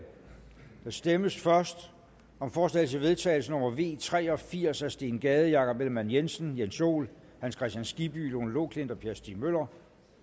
der stemmes først om forslag til vedtagelse nummer v tre og firs af steen gade jakob ellemann jensen jens joel hans kristian skibby lone loklindt og per stig møller